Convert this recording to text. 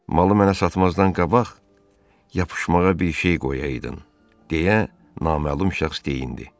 Malı mənə satmazdan qabaq yapışmağa bir şey qoyaydın, deyə naməlum şəxs deyinirdi.